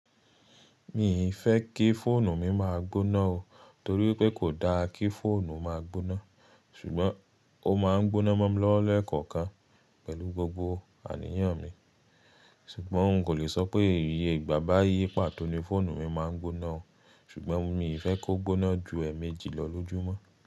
Mi ì fẹ́ kí fóònù mi máa gbóná o torí pé kò dá kí fóònù máa gbóná. Ṣùgbọ́n ó máa ń gbóná mọ́ mi lọ́wọ́ lekọ̀ọ̀kan pẹ̀lú gbogbo àníyàn mi. Ṣùgbọ́n n kò lè sọ pé ìyè ìgbà báyìí pàtó ni fóònù mi máa ń gbóná o. Ṣùgbọ́n mi ì fẹ́ kó gbóná ju ẹ́ẹ̀mèjì lọ lójúmọ́.